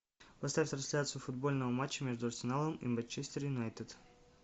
поставь трансляцию футбольного матча между арсеналом и манчестер юнайтед